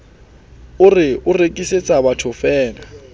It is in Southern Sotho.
a re o rekisetsa bathofeela